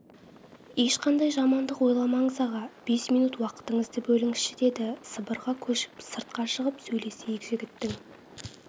ешқандай жамандық ойламаңыз аға бес минут уақытыңызды бөліңізші деді сыбырға көшіп сыртқа шығып сөйлесейік жігіттің